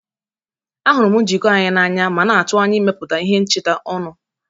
Ahụrụ m njikọ anyị n'anya ma na-atụ anya ịmepụta ihe ncheta ọnụ.